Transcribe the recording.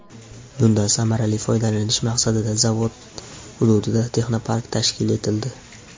Bundan samarali foydalanish maqsadida zavod hududida texnopark tashkil etildi.